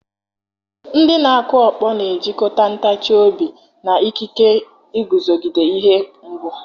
Ndị na-akụ ọkpọ na-ejikọta ntachi obi, ike, ike, na ikike iguzogide ihe mgbu